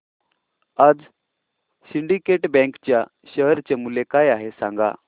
आज Syndicate Bank च्या share चे मूल्य काय आहे हे सांगा